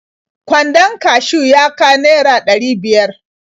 Kwandon kashiw ya ka naira ɗari biyar.